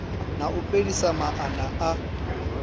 na u fhelisa maana a